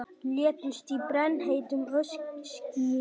Létust í brennheitu öskuskýi